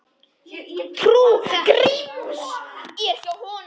Trú Gríms er hjá honum.